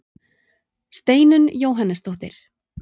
Steinunn Jóhannesdóttir.